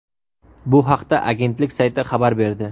Bu haqda agentlik sayti xabar berdi .